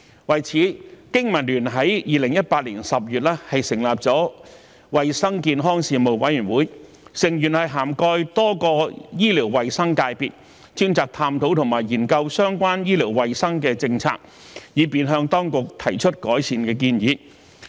為此，經民聯在2018年10月成立了衞生健康事務委員會，成員涵蓋多個醫療衞生界別，專責探討和研究相關醫療衞生的政策，以便向當局提出改善的建議。